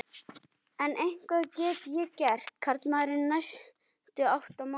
En hvað get ég gert, karlmaðurinn, næstu átta mánuði?